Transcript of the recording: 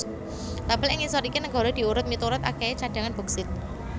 Tabel ig ngisor iki negara diurut miturut akèhé cadhangan boksit